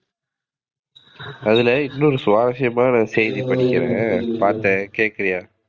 அதுல இன்னொரு சுவாரசியமான செய்தி படிக்கிறேன், பாத்தேன். கேக்குறீயா?